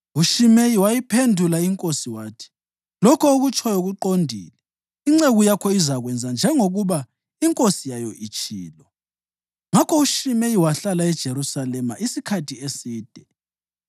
UShimeyi wayiphendula inkosi wathi, “Lokho okutshoyo kuqondile. Inceku yakho izakwenza njengoba inkosi yayo itshilo.” Ngakho uShimeyi wahlala eJerusalema isikhathi eside.